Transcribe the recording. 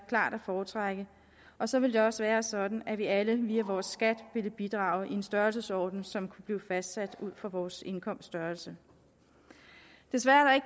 at foretrække og så ville det også være sådan at vi alle via vores skat ville bidrage i en størrelsesorden som kunne blive fastsat ud fra vores indkomsts størrelse desværre er